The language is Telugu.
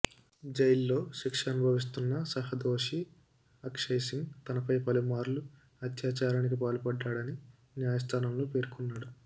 జైల్లో శిక్ష అనుభవిస్తున్న సహ దోషి అక్షయ్ సింగ్ తనపై పలుమార్లు అత్యాచారానికి పాల్పడ్డాడని న్యాయస్థానంలో పేర్కొన్నాడు